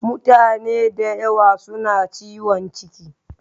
Mutane da yawa suna ciwon ciki